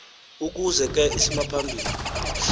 ukuze ke isimaphambili